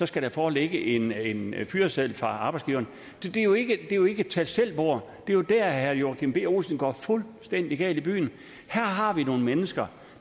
skal der foreligge en fyreseddel fra arbejdsgiveren så det er jo ikke et tag selv bord det er jo der herre joachim b olsen går fuldstændig galt i byen her har vi nogle mennesker